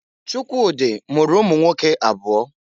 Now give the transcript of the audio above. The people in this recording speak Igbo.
Chukwudi mụrụ ụmụnwoke abụọ.